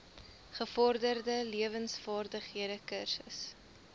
gevorderde lewensvaardighede kursus